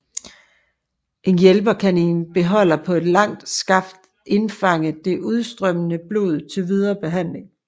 En hjælper kan i en beholder på et langt skaft indfange det udstrømmende blod til videre behandling